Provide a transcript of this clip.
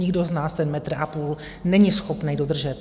Nikdo z nás ten metr a půl není schopný dodržet.